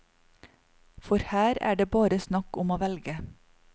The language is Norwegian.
For her er det bare snakk om å velge.